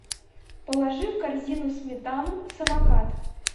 положи в корзину сметану самокат